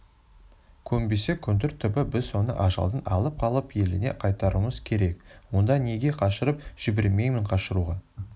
көнбесе көндір түбі біз оны ажалдан алып қалып еліне қайтаруымыз керек онда неге қашырып жібермеймін қашыруға